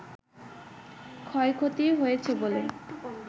ক্ষয়ক্ষতি হয়েছে বলে